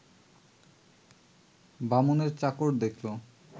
বামুনের চাকর দেখল